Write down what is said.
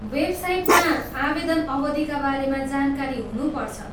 वेबसाइटमा आवेदन अवधिका बारेमा जानकारी हुनुपर्छ।